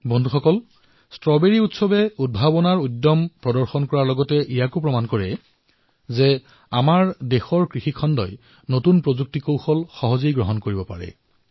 বন্ধুসকল ষ্ট্ৰবেৰী উৎসৱৰ দৰে প্ৰয়োগে উদ্ভাৱনৰ সত্বাক প্ৰদৰ্শিত কৰাৰ লগতে আমাৰ দেশত কৃষিখণ্ডত কেনে প্ৰযুক্তিৰ ব্যৱহাৰ হৈছে সেয়াও প্ৰদৰ্শিত কৰে